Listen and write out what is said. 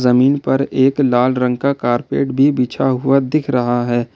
जमीन पर एक लाल रंग का कारपेट भी बिछा हुआ दिख रहा है।